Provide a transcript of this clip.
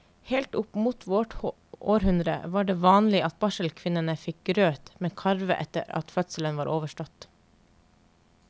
Helt opp mot vårt århundre var det vanlig at barselkvinnene fikk grøt med karve etter at fødselen var overstått.